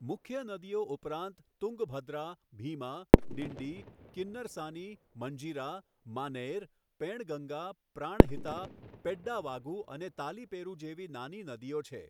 મુખ્ય નદીઓ ઉપરાંત તુંગભદ્રા, ભીમા, ડિંડી, કિન્નરસાની, મંજીરા, માનૈર, પેણગંગા, પ્રાણહિતા, પેડ્ડાવાગુ અને તાલિપેરૂ જેવી નાની નદીઓ છે.